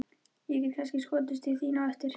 Ég get kannski skotist til þín á eftir.